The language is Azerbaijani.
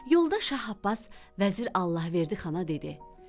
Yolda Şah Abbas vəzir Allahverdi Xana dedi: